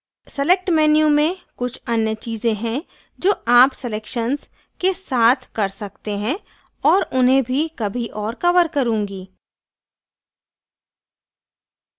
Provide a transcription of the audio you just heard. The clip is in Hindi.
select menu में कुछ अन्य चीज़ें हैं जो आप selections के साथ कर सकते हैं और उन्हें भी कभी और cover करुँगी